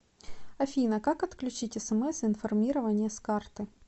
афина как отключить смс информирование с карты